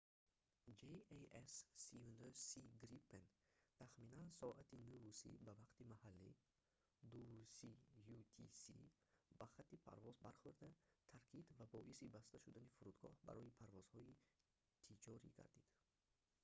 jas 39c gripen» тахминан соати 9:30 ба вақти маҳаллӣ 02:30 utc ба хати парвоз бархӯрда таркид ва боиси баста шудани фурудгоҳ барои парвозҳои тиҷорӣ гардид